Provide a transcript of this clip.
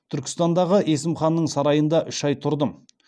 түркістандағы есім ханның сарайында үш ай тұрдым